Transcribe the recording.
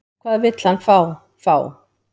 Hvað vill hann fá, fá?